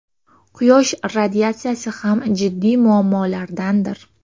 Quyosh radiatsiyasi ham jiddiy muammolardandir.